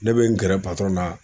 Ne bɛ n gɛrɛ na